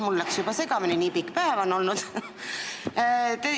Mul läks juba segamini – nii pikk päev on olnud.